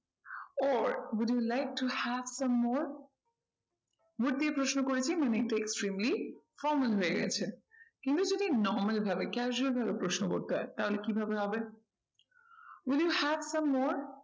Or would you like to have some more would দিয়ে প্রশ্ন করেছি মানে একটু extremely formal হয়ে গেছে। কিন্তু যদি normal ভাবে casual প্রশ্ন করতে হয় তাহলে কি ভাবে হবে? will you have some more